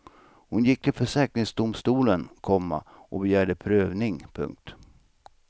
Hon gick till försäkringsdomstolen, komma och begärde prövning. punkt